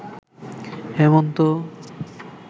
হেমন্ত